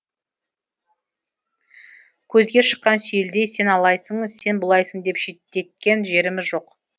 көзге шыққан сүйелдей сен алайсың сен бұлайсың деп шеттеткен жеріміз жоқ